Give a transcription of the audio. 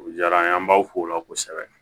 O diyara an ye an b'aw fola kosɛbɛ